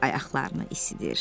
qrup ayaqlarını isidir.